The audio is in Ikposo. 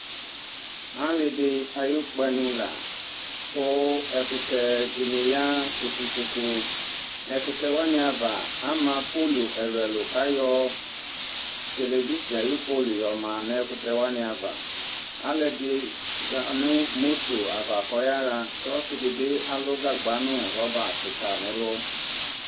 ali di ayu kpanu la , ku ɛkutɛ di ni ya tsoku tsoku, ɛkutɛ wʋani ava ama polu ɛlu ɛlu kayɔ yelevigin ayi polu yɔma nu ɛkutɛ wʋani ava alu ɛdini za nu moto ava kɔyaɣa kɔsi di alu gagba nu rɔba kika nɛlu